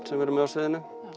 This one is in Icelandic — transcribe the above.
sem við erum með á sviðinu